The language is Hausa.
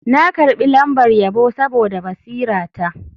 Na karbi lambar yabo saboda basirata.